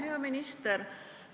Hea minister!